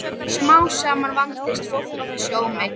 Smám saman vandist fólk þessu ómeti.